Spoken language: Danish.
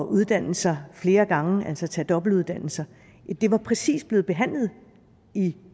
uddanne sig flere gange altså tage dobbeltuddannelser det var præcis blevet behandlet i